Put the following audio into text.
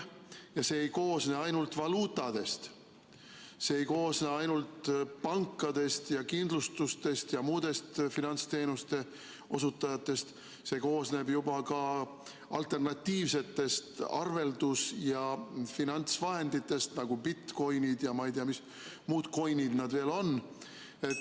See ei koosne ainult valuutadest, see ei koosne ainult pankadest, kindlustusettevõtetest ja muudest finantsteenuste osutajatest, vaid see koosneb juba ka alternatiivsetest arveldus- ja finantsvahenditest, nagu bitcoin'id ja ma ei tea, mis muud coin'id seal veel on.